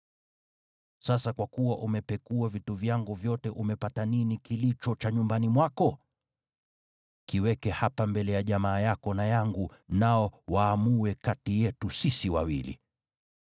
Sasa kwa kuwa umepekua vitu vyangu vyote umepata nini kilicho cha nyumbani mwako? Kiweke hapa mbele ya jamaa yako na yangu, nao waamue kati yetu sisi wawili.